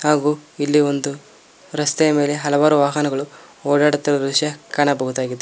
ಹಾಗು ಇಲ್ಲಿ ಒಂದು ರಸ್ತೆಯ ಮೇಲೆ ಹಲವಾರು ವಾಹನಗಳು ಓಡಾಡುತ್ತಿರುವ ದೃಶ್ಯ ಕಾಣಬಹುದಾಗಿದೆ.